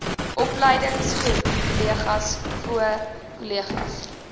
opleingskolleges voo kolleges